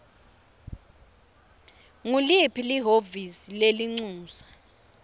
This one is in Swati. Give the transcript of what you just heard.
nguliphi lihhovisi lelincusa